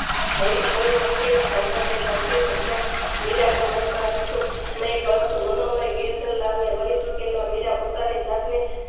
અહીંકોઇ પંખીડું સંપ્રદાય ભક્તિનું ખ્યાલ મીરાના મનમાં હતું નય પરંતુ મનોમન ગિરધરલાલને વળીચૂકેલા મીરાપોતાની જાતને